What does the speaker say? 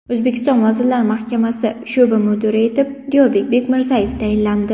O‘zbekiston Vazirlar Mahkamasi sho‘ba mudiri etib Diyorbek Bekmirzayev tayinlandi.